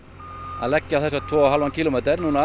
að leggja á þessa tvo og hálfan